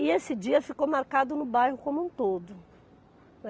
E esse dia ficou marcado no bairro como um todo, né.